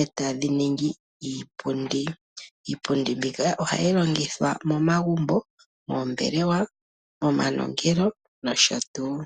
e tadhi ningi iipundi. Iipundi mbika ohayi longithwa momagumbo, moombelewa , momanongelo nosho tuu.